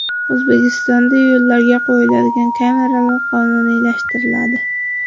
O‘zbekistonda yo‘llarga qo‘yiladigan kameralar qonuniylashtiriladi.